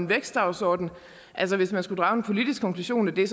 vækstdagsorden at hvis man skulle drage en politisk konklusion af det